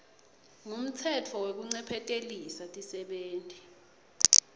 ngumtsetfo wekuncephetelisa tisebenti